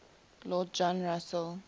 lord john russell